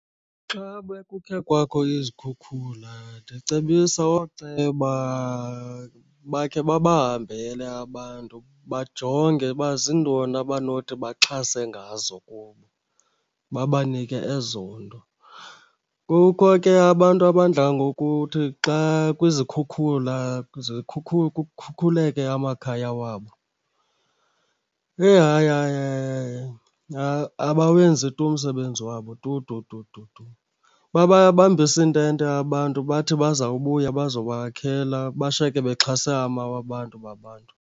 Xa bekukhe kwakho izikhukhula ndicebisa ooceba bakhe babahambele abantu bajonge uba zintoni abanothi baxhase ngazo kubo, babanike ezo nto. Kukho ke abantu abadla ngokuthi xa kwizikhukhula kukhukhuleke amakhaya wabo. Eyi hayi hayi hayi hayi abawenzi tu umsebenzi wabo tu tu tu tu tu. Bababambisa iintente abantu bathi bazawubuya bazobakhela bashiyeke bexhase amawa abantu babantu.